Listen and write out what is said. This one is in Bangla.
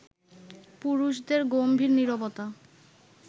পুরুষদের গম্ভীর নীরবতা